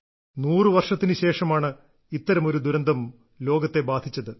100 വർഷത്തിനു ശേഷമാണ് ഇത്തരമൊരു ദുരന്തം ലോകത്തെ ബാധിച്ചത്